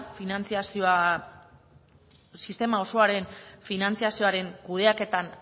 sistema osoaren finantzazioaren kudeaketan